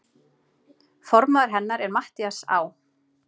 Formaður hennar er Matthías Á.